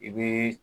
I bɛ